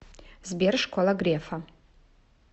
сбер школа грефа